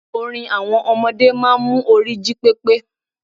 Orin àwọn ọmọdé máa n mu orí jí pépé